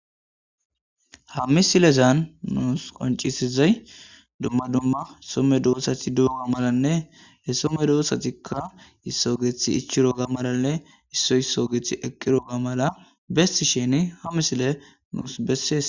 Haa missilezanni nusi qoniccizayi dumma dumma Soo medosata dizo malanne ,hesa medosatikka hesi geththi ichchodo malanne iso isoyi eqido malanne haa missileyi qonccisess.